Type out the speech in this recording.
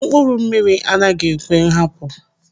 Mkpụrụ mmiri anaghị ekwe nhapu.